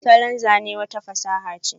salon Zane wata hanyar fasaha ce.